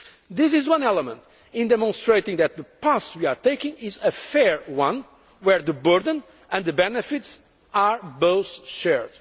level. This is one element in demonstrating that the path we are taking is a fair one, where the burden and the benefits are both